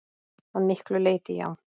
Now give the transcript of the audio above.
Að miklu leyti já.